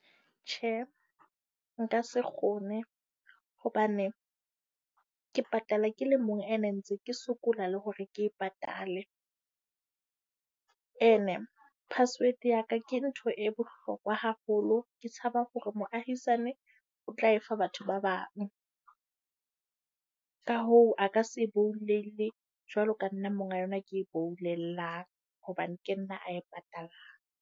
Tjhe nka se kgone, hobane ke patala ke le mong, ene ntse ke sokola le hore ke e patale. Ene password ya ka ke ntho e hlokwa haholo. Ke tshaba hore moahisane o tla e fa batho ba bang. Ka hoo, a ka se e boulelle jwalo ka nna monga yona ke e boulellang hobane ke nna ae patalang.